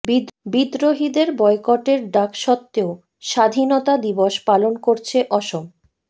বিদ্ৰোহীদের বয়কটের ডাক সত্ত্বেও স্বাধীনতা দিবস পালন করছে অসম